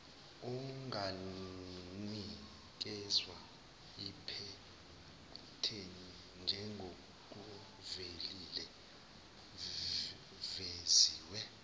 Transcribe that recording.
unganikezwa iphethenti njengokuveziwe